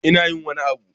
Ina yin wani abu